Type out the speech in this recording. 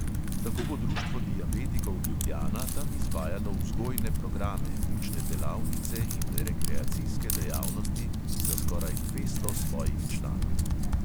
Tako bo društvo diabetikov ljubljana tam izvajalo vzgojne programe, učne delavnice in rekreacijske dejavnosti za skoraj dvesto svojih članov.